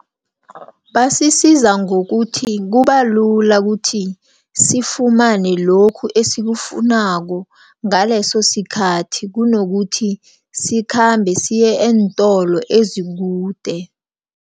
Basisiza ngokuthi, kubalula kuthi, sifumane lokhu esikufunako ngalesosikhathi kunokuthi sikhambe siye eentolo ezikude.